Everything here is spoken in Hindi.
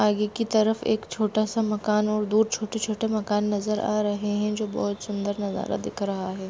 आगे की तरफ एक छोटा सा मकान और दो छोटे-छोटे मकान नजर आ रहे हैं जो बहोत सुंदर नजारा दिख रहा है।